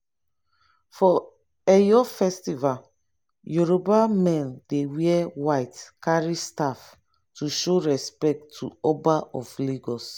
for eyo festival yoruba men dey wear white carry staff to show respect to oba of lagos.